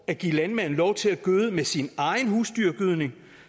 at give landmanden lov til at gøde med sin egen husdyrgødning